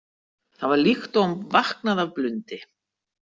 Það var líkt og hún vaknaði af blundi.